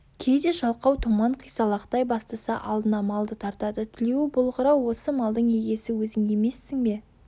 кейде жалқау томан қисалақтай бастаса алдына малды тартады тілеуі болғыр-ау осы малдың егесі өзің емессің бе